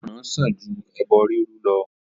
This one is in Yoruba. Ìgbọràn sàn ju ẹbọ riru lọ.